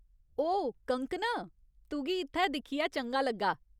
ओ कंगकना, तुगी इत्थै दिक्खियै चंगा लग्गा।